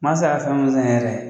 Mansa y'a faamu sisan yɛrɛ.